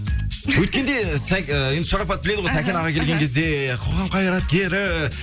өткенде і енді шарапат біледі ғой сәкен аға келген кезде қоғам қайраткері